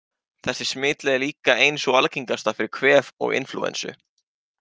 Þessi smitleið er líka ein sú algengasta fyrir kvef og inflúensu.